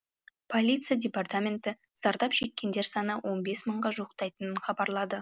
полиция департаменті зардап шеккендер саны он бес мыңға жуықтайтынын хабарлады